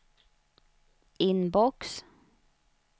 inbox